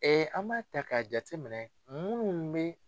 an b'a ta k'a jateminɛ minnu bɛ.